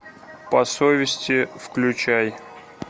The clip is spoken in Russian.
по совести включай